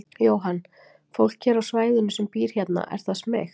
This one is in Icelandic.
Jóhann: Fólk hér á svæðinu sem býr hérna, er það smeykt?